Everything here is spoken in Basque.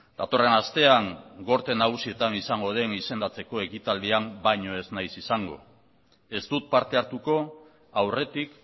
datorren astean gorte nagusietan izango den izendatzeko ekitaldian baino ez nahiz izango ez dut parte hartuko aurretik